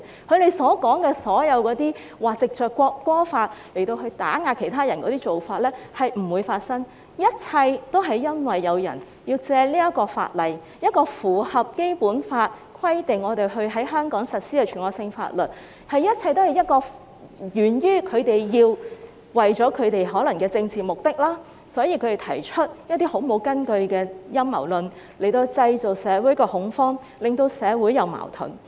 他們所說的政府會藉這項法例打壓其他人是不會發生，一切都是因為有人要藉法例——這是一項符合《基本法》的規定，必須在香港實施的全國性法律——他們可能是為了政治目的，因而提出毫無根據的陰謀論，藉以在社會上製造恐慌，令社會出現矛盾。